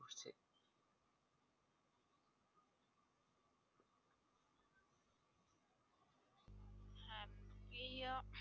এই আহ